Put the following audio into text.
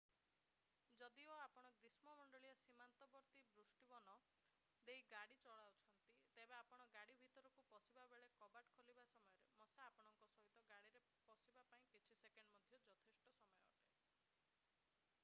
ଯଦିଓ ଆପଣ ଗ୍ରୀଷ୍ମ ମଣ୍ଡଳୀୟ ସୀମାନ୍ତବର୍ତ୍ତୀ ବୃଷ୍ଟିବନ ଦେଇ ଗାଡି ଚଲାଉଛନ୍ତି ତେବେ ଆପଣ ଗାଡି ଭିତରକୁ ପଶିବାବେଳେ କବାଟ ଖୋଲିବା ସମୟରେ ମଶା ଆପଣଙ୍କ ସହିତ ଗାଡିରେ ପଶିବା ପାଇଁ କିଛି ସେକେଣ୍ଡ ମଧ୍ୟ ଯଥେଷ୍ଟ ସମୟ ଅଟେ